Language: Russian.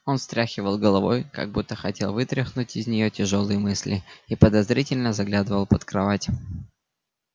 он встряхивал головой как будто хотел вытряхнуть из нее тяжёлые мысли и подозрительно заглядывал под кровать